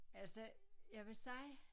Altså jeg vil sige